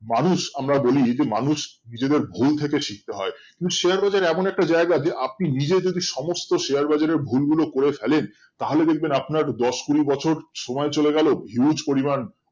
মানুষ আমরা বলি যে মানুষ নিজেদের ভুল থেকে শিখতে হয় কিন্তু share বাজার এমন একটা জায়গা যে আপনি নিজে যদি সমস্ত share বাজারের ভুল গুলো করে ফেলেন তাহলে দেখবেন আপনার দশ কুড়ি বছর সময় চলে গেলেও huge পরিমান